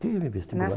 Teve vestibular. Na